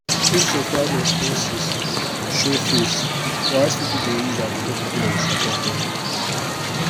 if surprise expense show face wise people dey use their credit line support am.